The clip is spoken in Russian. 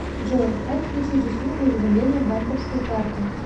джой как включить услугу уведомления банковской карты